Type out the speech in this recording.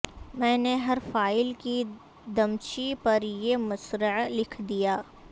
میں نے ہر فائل کی دمچی پر یہ مصرعہ لکھ دیا